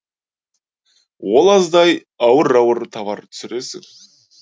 ол аздай ауыр ауыр товар түсіресің